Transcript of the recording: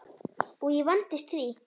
Og ég vandist því.